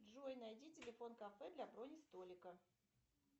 джой найди телефон кафе для брони столика